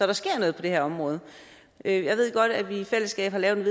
der sker noget på det her område jeg ved godt at vi i fællesskab har lavet et